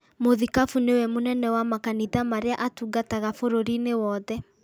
Mũthikabu nĩwe mũnene wa makanitha marĩa atungataga bũrũri-inĩ wothe